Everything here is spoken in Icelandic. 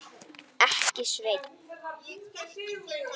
Ekki, Sveinn.